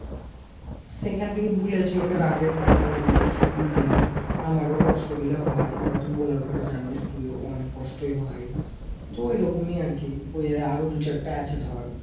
সেখান থেকে বুলেছি ওকে রাগের মাথায় অনেক কিছুই বুললাম। আমার ও কোস্ট গুলা হয় ওরা তো বুলার পরে জানিস তুইও অনেক কোস্ট ই হয় তো ঐরকম ই আরকি আরো দু চারটা আছে ধর